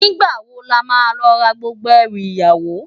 Nigbá wó làmá lò rá gbógbó èrú iyàwó?